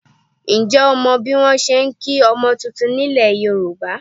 Ǹjẹ́ o mọ bí wọn ṣe ń kí ọmọ titun nílẹ̀ Yorùbá?